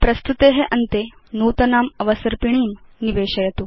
प्रस्तुते अन्ते नूतनाम् अवसर्पिणीं निवेशयतु